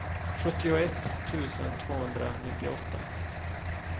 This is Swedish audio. sjuttioett tusen tvåhundranittioåtta